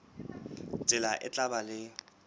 tsela e tla ba le